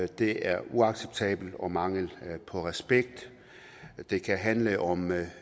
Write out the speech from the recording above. det er uacceptabelt og viser mangel på respekt det kan handle om